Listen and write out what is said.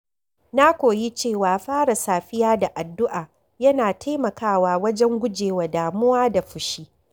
Na koyi cewa fara safiya da addu’a yana taimakawa wajen gujewa damuwa da fushi.